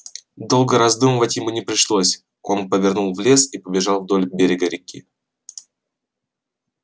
долго раздумывать ему не пришлось он повернул в лес и побежал вдоль берега реки